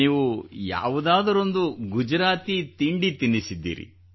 ನೀವು ನನಗೆ ಯಾವುದಾದರೊಂದು ಗುಜರಾತಿ ತಿಂಡಿ ತಿನ್ನಿಸಿದ್ದೀರಿ